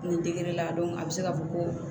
Nin degere la a bɛ se ka fɔ ko